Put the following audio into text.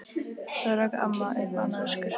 Þá rak amma upp annað öskur.